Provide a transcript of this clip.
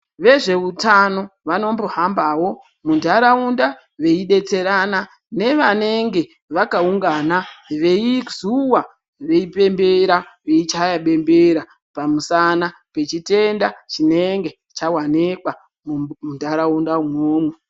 Vezveutano vanombohambao muntharaunda veidetserana nevanenge vakaungana veizuwa veipembera veichaya bembera pamusana pechitenda chinenge chawanikwa muntharaunda umwomwo.